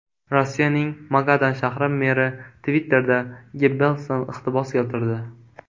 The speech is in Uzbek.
Rossiyaning Magadan shahri meri Twitter’da Gebbelsdan iqtibos keltirdi.